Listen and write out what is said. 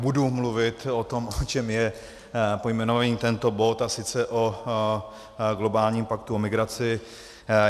Budu mluvit o tom, o čem je pojmenovaný tento bod, a sice o globálním paktu o migraci.